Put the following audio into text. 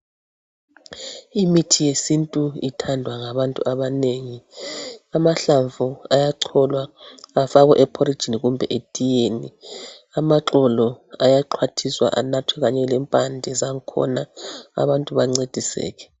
Imithi yesintu ithandwa ngabantu abanengi amahlamvu ayacholwa afakwe eporijini kumbe etiyeni amaxolo ayaxhwathiswa anathwe kanye lempande zangkhona abantu bancediseke.